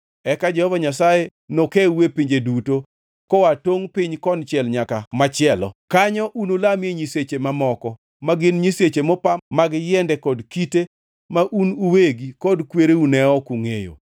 Eka Jehova Nyasaye nokewu e pinje duto, koa e tungʼ piny konchiel nyaka machielo. Kanyo unulamie nyiseche mamoko, ma gin nyiseche mopa mag yiende kod kite ma un uwegi kod ka kwereu ne ok ongʼeyo.